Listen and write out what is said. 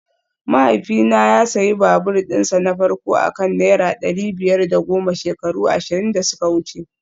Mahaifina ya sayi babur dinsa na farko a kan naira dari biyar da goma shekaru ashirin da suka wuce